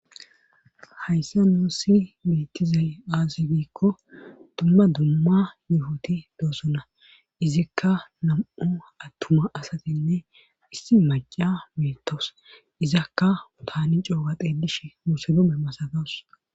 hayssa nuussi bettizay aazi giikko dumma dumma yufoti doossona izikka nam'u attuma asatinne issi maca beettos izakka taani cooga xelishen muuslume masatawus